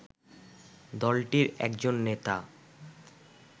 দলটির একজন নেতা